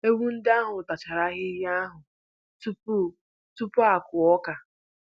Ewu ndị ahụ tachara ahịhịa ahụ tupu tupu a kụọ ọka